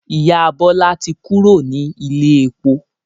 Ìyá Bọlá tí kúrò ní ilé epo